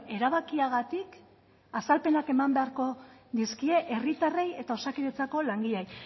erabakiagatik azalpenak eman beharko dizkie herritarrei eta osakidetzako langileei